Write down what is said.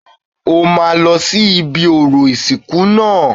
O máa lọ sí ibi orò ìsìnkú náà